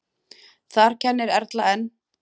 Þar kennir Erla enn.